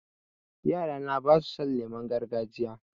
Yara na ba su son lemon gargajiya